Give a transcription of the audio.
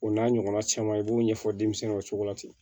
O n'a ɲɔgɔnna caman i b'o ɲɛfɔ denmisɛninw cogo la ten